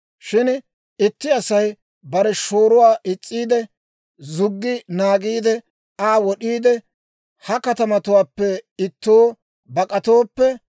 «Shin itti Asay bare shooruwaa is's'iide, zuggi naagiide Aa wod'iide, ha katamatuwaappe ittoo bak'atooppe,